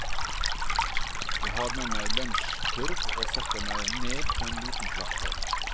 Jeg har med meg lunsjkurv og setter meg ned på en liten plattform.